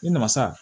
Ne nana sa